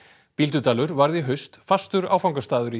Bíldudalur varð í haust fastur áfangastaður í